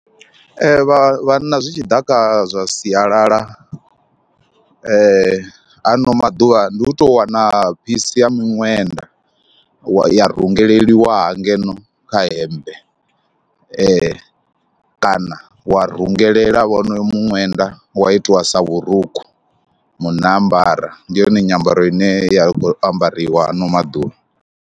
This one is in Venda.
Ee vha vhanna zwi tshi ḓa kha zwa sialala ha ano maḓuvha ndi u tou wana phisi ya miṅwenda wa, ya rengeliwa ha ngeno kha hemmbe ee kana wa rungelela wonoyo muṅwenda wa itiwa sa vhurukhu, munna a ambara. Ndi yone nyambaro ine ya khou ambariwa ha ano maḓuvha.